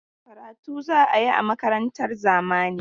Karatu za a yi a makarantar zamani.